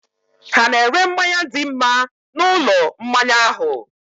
Hà na-ere mmanya dị mma na ulo mmanya ahụ?